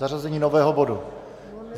Zařazení nového bodu.